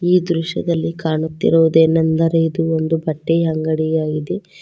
ಈ ದೃಶ್ಯದಲ್ಲಿ ಕಾಣುತ್ತಿರುವದೆನೆಂದರೆ ಇದು ಒಂದು ಬಟ್ಟೆಯ ಅಂಗಡಿ ಆಗಿದೆ.